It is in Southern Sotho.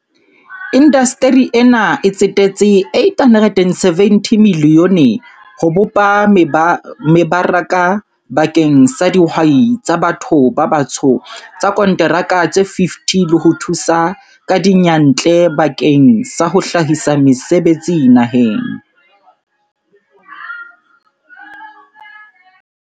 Indasteri ena e tsetetse R870 milione ho bopa meba raka bakeng sa dihwai tsa ba tho ba batsho tsa konteraka tse 50 le ho thusa ka diyantle bakeng sa ho hlahisa mese betsi naheng.